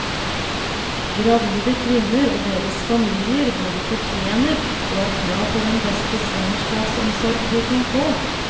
Gravide kvinner og deres familier både fortjener og har krav på den beste svangerskapsomsorg de kan få.